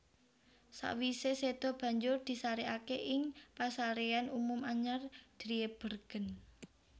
Sakwisé séda banjur disarèkaké ing Pasaréyan Umum Anyar Driebergen